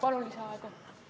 Palun lisaaega!